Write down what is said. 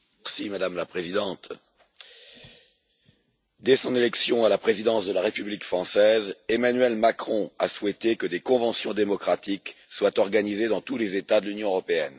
Madame la Présidente, dès son élection à la présidence de la République française, Emmanuel Macron a souhaité que des conventions démocratiques soient organisées dans tous les États de l'Union européenne.